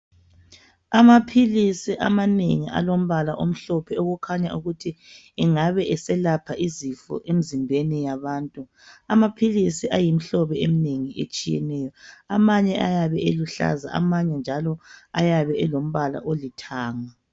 Amaphilisi amanengi alombala omhlophe okukhanya ukuthi engabe eselapha izifo emzimbeni yabantu. Amaphilisi ayimhlobo eminengi etshiyeneyo amanye ayabe eluhlaza amanye njalo ayabe elombala olithanga.